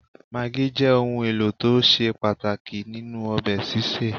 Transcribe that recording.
Magí jẹ́ òun ẹlò tó ṣe pàtàkì nínú ọbẹ̀ sísè